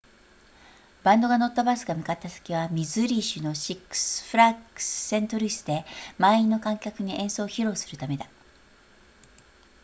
バンドが乗ったバスが向かった先はミズーリ州のシックスフラッグスセントルイスで満員の観客に演奏を披露するためだ